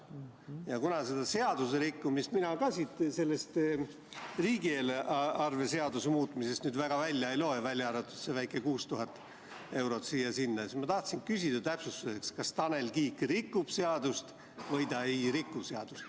Kuna mina seda seaduserikkumist siit riigieelarve seaduse muutmise seadusest väga välja ei loe, välja arvatud see väike 6000 eurot siia-sinna, siis ma tahtsin küsida täpsustuseks, kas Tanel Kiik rikub seadust või ta ei riku seadust.